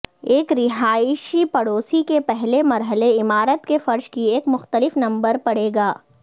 ایک رہائشی پڑوس کے پہلے مرحلے عمارت کے فرش کی ایک مختلف نمبر پڑے گا